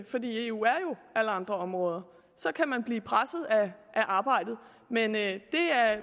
fordi eu er jo alle andre områder så kan man blive presset af arbejdet men det